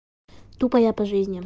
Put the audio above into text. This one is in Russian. тупо я по жизни